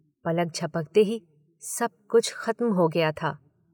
पलक झपकते ही सब कुछ खत्म हो गया था